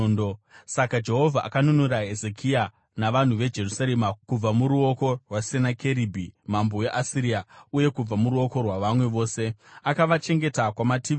Saka Jehovha akanunura Hezekia navanhu veJerusarema kubva muruoko rwaSenakeribhi mambo weAsiria uye kubva muruoko rwavamwe vose. Akavachengeta kumativi ose.